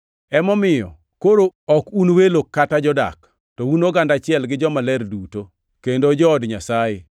Emomiyo, koro ok un welo kata jodak, to un oganda achiel gi jomaler duto, kendo jood Nyasaye,